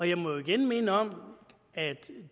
jeg må igen minde om at